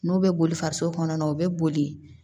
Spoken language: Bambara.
N'u bɛ boli faso kɔnɔna o bɛ boli